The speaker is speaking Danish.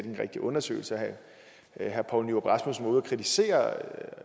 en rigtig undersøgelse og herre poul nyrup rasmussen var ude at kritisere